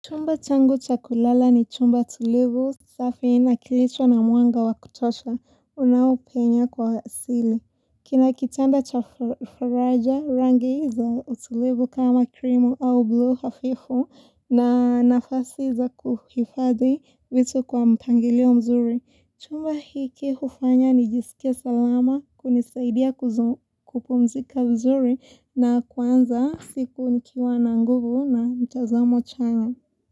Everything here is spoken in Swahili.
Chumba changu chakulala ni chumba tulivu, safi na kilicho na mwanga wa kutosha, unaopenya kwa asili. Kina kitanda cha faraja, rangi za utulivu kama cream au buluu hafifu na nafasi za kuhifadhi vitu kwa mpangilio mzuri. Chumba hiki hufanya nijisikie salama, kunisaidia kupumzika vizuri na kuanza siku nikiwa na nguvu na mtazamo chanya.